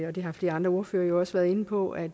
og det har flere andre ordførere jo også været inde på at